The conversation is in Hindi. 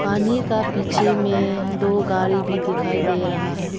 पानी का पीछे में दो गारी भी दिखाई दे रहा है।